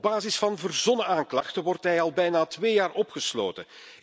Op basis van verzonnen aanklachten zit hij al bijna twee jaar opgesloten.